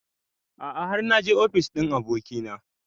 A'a har naje ofis ɗin abokina